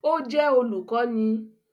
Ó jẹ́ olùkọ́ni